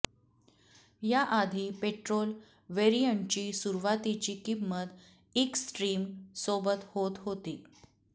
याआधी पेट्रोल व्हेरियंटची सुरुवातीची किंमत इक्स ट्रिम सोबत होत होती